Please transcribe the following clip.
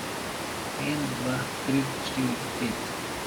En, dva, tri, štiri, pet.